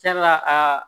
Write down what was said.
Sabula aa